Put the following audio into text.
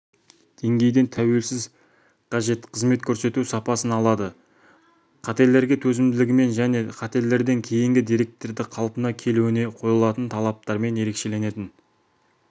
деңгейден тәуелсіз қажет қызмет көрсету сапасын алады қателерге төзімділігімен және қателерден кейінгі деректердің қалпына келуіне қойылатын талаптармен ерекшеленетін